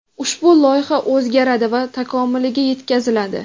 ushbu loyiha o‘zgaradi va takomiliga yetkaziladi.